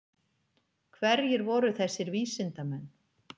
Hverjir voru þessir vísindamenn?